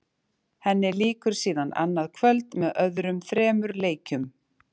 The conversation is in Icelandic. Henni lýkur síðan annað kvöld með öðrum þremur leikjum.